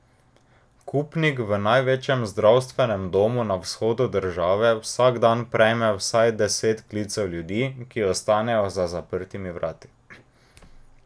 Kupnik v največjem zdravstvenem domu na vzhodu države vsak dan prejme vsaj deset klicev ljudi, ki ostanejo za zaprtimi vrati.